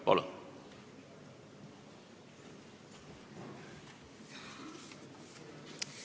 Palun!